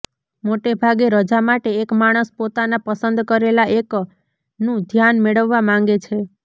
મોટેભાગે રજા માટે એક માણસ પોતાના પસંદ કરેલા એકનું ધ્યાન મેળવવા માંગે છે